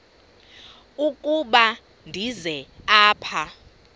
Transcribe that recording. ukuba ndize apha